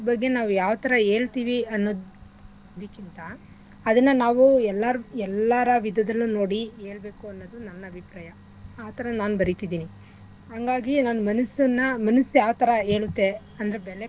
ಬಗ್ಗೆ ನಾವ್ ಯಾವ್ಥರಾ ಹೇಳ್ತಿವಿ ಅನ್ನೋದಿಕ್ಕಿಂತ ಅದನ್ನ ನಾವೂ ಎಲ್ಲಾರ್~ ಎಲ್ಲಾರ ವಿಧದಲ್ಲೂ ನೋಡಿ ಏಳ್ಬೇಕು ಅನ್ನೋದು ನನ್ ಅಭಿಪ್ರಾಯ ಆಥರ ನಾನ್ ಬರೀತಿದಿನಿ ಹಂಗಾಗಿ ನಾನ್ ಮನಸ್ಸನ್ನಾ ಮನಸ್ ಯಾವ್ಥರ ಹೇಳುತ್ತೆ ಅಂದ್ರೆ ಬೆಲೆ.